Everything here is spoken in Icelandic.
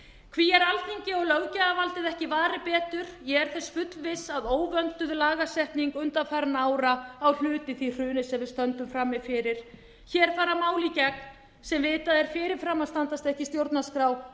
hví er alþingi og löggjafarvaldið ekki varið betur ég er þess fullviss að óvönduð lagasetning undanfarinna ára á hluti í því hruni sem við stöndum frammi fyrir hér fara mál í gegn sem vitað er fyrirfram að standast ekki stjórnarskrá alþjóðasamningar voru á